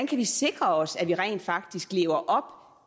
kan sikre os at vi rent faktisk lever